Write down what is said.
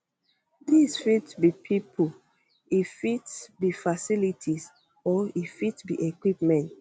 dis fit be pipo e fit be facilities or e fit be equipment